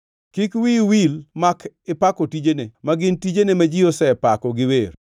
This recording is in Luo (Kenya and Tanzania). Kik wiyi wil mak ipako tijene ma gin tijene ma ji osepako gi wer.